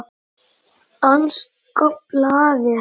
Danska blaðið